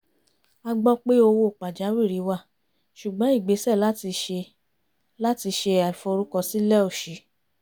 a gbọ́ pé owó pàjáwìrì wà ṣùgbọ́n ìgbésè láti ṣe láti ṣe ìforúkọsílẹ̀ ò ṣí